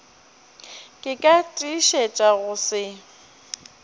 ka ke tiišetša go se